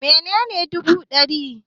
Menene bugu da rini?